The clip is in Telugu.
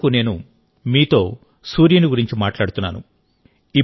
ఇప్పటివరకు నేను మీతో సూర్యుని గురించి మాట్లాడుతున్నాను